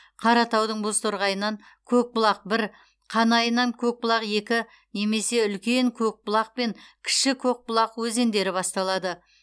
қаратаудың бозторғайынан көкбұлақ бір қанайынан көкбұлақ екі немесе үлкен көкбұлақ пен кіші көкбұлақ өзендері басталады